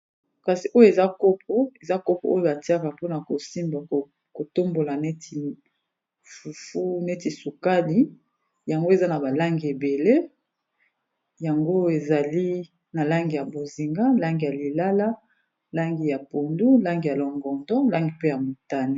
Kasi oyo eza kopo oyo batiaka mpona kosimba kotombola neti fufu neti sukali yango eza na balangi ebele yango ezali na langi ya bozinga, langi ya lilala, langi ya pondu, langi ya longondo, langi mpe ya motani.